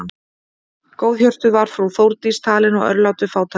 Góðhjörtuð var frú Þórdís talin og örlát við fátæka.